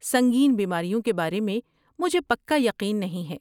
سنگین بیماریوں کے بارے میں مجھے پکا یقین نہیں ہے۔